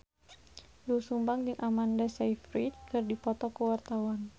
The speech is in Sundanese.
Doel Sumbang jeung Amanda Sayfried keur dipoto ku wartawan